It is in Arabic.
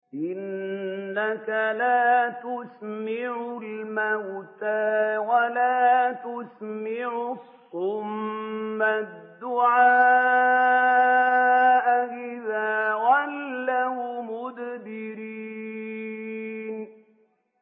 إِنَّكَ لَا تُسْمِعُ الْمَوْتَىٰ وَلَا تُسْمِعُ الصُّمَّ الدُّعَاءَ إِذَا وَلَّوْا مُدْبِرِينَ